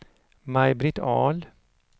Maj-Britt Ahl